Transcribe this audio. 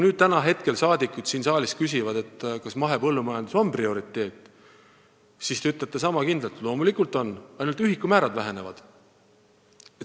Kui nüüd saadikud siin saalis küsivad, kas mahepõllumajandus on prioriteet, siis te ütlete sama kindlalt, et loomulikult on, ainult ühikumäärad vähenevad.